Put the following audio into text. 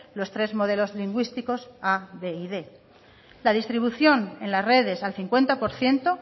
los tres modelos lingüísticos a b y quinientos la distribución en las redes al cincuenta por ciento